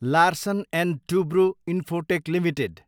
Larsen and Toubro Infotech limited